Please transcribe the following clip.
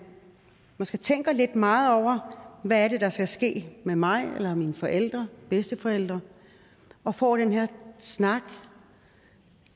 måske tænker lidt meget over hvad er det der skal ske med mig eller mine forældre bedsteforældre og får den her snak